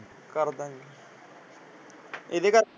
ਕਰ ਦਾ ਗੇ। ਇਹਦੇ ਕਰਕੇ।